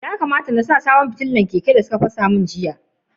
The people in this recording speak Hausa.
Ya kamata n sa sabon fitilan wutsiya a keke na, sun fasa jiya.